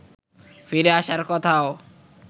ফিরে আসার কথাও